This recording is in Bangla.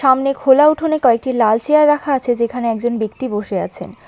সামনে খোলা উঠোনে কয়েকটি লাল চিয়ার রাখা আছে যেখানে একজন ব্যক্তি বসে আছেন।